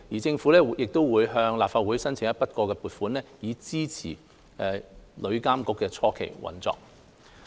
政府亦會按照既定程序尋求立法會批准向旅監局撥款，以支持旅監局的初期運作。